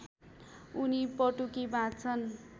अनि पटुकी बाँध्छन्